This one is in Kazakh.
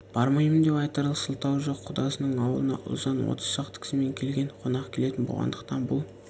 бармаймын деп айтарлық сылтауы жоқ құдасының аулына ұлжан отыз шақты кісімен келген қонақ келетін болғандықтан бұл